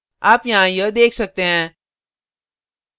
आप यहाँ यह देख सकते हैं